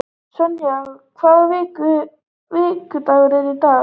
Sonja, hvaða vikudagur er í dag?